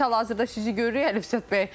Biz hal-hazırda sizi görürük Əlifşət bəy.